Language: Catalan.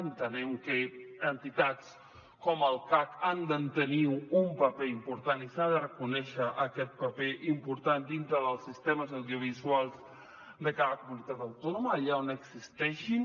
entenem que entitats com el cac han de tenir un paper important i s’ha de reconèixer aquest paper important dintre dels sistemes audiovisuals de cada comunitat autònoma allà on existeixin